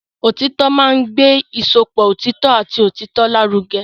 Òtítọ́ máa ń gbé ìsopọ̀ òtítọ́ àti òtítọ́ lárugẹ.